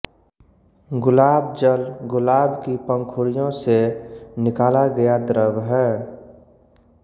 गुलाब जल गुलाब की पंखुड़ियों से निकाला गया द्रव है